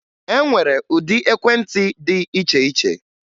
E nwere ụdị ekwentị dị iche iche